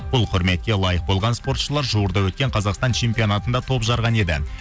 бұл құрметке лайық болған спортшылар жуырда өткен қазақстан чемпионатында топ жарған еді